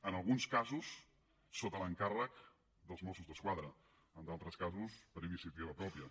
en alguns casos sota l’encàrrec dels mossos d’esquadra en d’altres casos per iniciativa pròpia